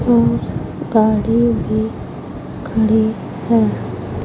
और गाड़ी भी खड़ी है।